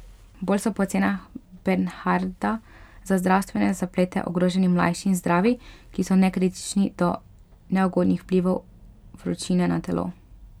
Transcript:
Bolj so po ocenah Bernhardta za zdravstvene zaplete ogroženi mlajši in zdravi, ki so nekritični do neugodnih vplivov vročine na telo.